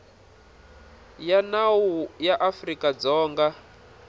ya nawu ya afrika dzonga